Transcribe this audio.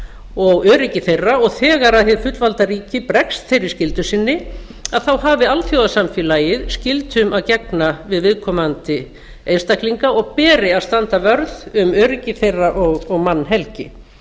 og öryggi þeirra og þegar hið fullvalda ríki bregst þeirri skyldu sinni þá hafi alþjóðasamfélagið skyldum að gegna við viðkomandi einstaklinga og beri að standa vörð um öryggi þeirra og mannhelgi